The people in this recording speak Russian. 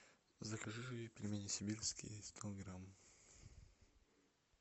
закажи пельмени сибирские сто грамм